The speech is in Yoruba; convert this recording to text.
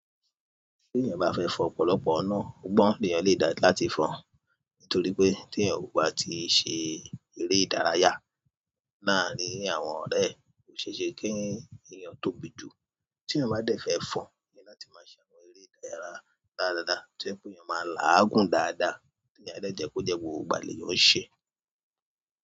Tí èèyàn bá fẹ́ fọn ọ̀pọ̀lọpọ̀ inà, ógbọ́n lèèyàn le dá láti fọn. Nítorí pé tí èèyàn kò bá ti ṣe eré ìdárayá laarin àwọn ọ̀rẹ́ e, ò ṣe é ṣe kí èèyàn tóbi jù. Tí èèyàn bá dẹ̀ fẹ́ fọn, ni láti máa ṣe àwọn eré ìdárayá dáradára. Tí o je pe èèyàn má láàgùn dáadáa, tí èèyàn dẹ́ jẹ́ kó jẹ́ gbogbo ìgbà lè yàn ṣẹ.